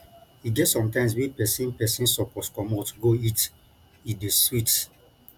e get sometimes wey pesin pesin suppose comot go eat e dey sweet